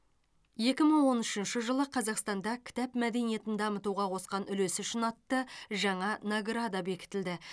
екі мың он үшінші жылы қазақстанда кітап мәдениетін дамытуға қосқан үлесі үшін атты жаңа награда бекітілді